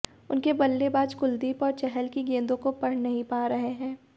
उनके बल्लेबाज कुलदीप और चहल की गेंदों को पढ़ नहीं पा रहे हैं